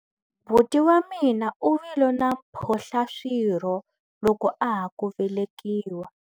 Buti wa mina u vile na mphohlaswirho loko a ha ku velekiwa.